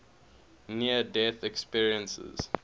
near death experiences